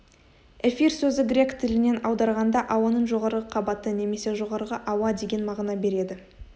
эфир сөзі грек тілінен аударғанда ауаның жоғарғы қабаты немесе жоғарғы ауа деген мағына береді